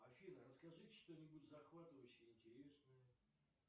афина расскажите что нибудь захватывающее интересное